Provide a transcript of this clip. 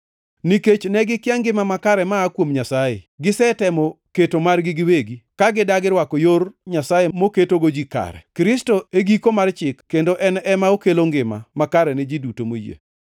Nikech ne gikia ngima makare ma aa kuom Nyasaye, gisetemo keto margi giwegi, ka gidagi rwako yor Nyasaye moketogo ji kare.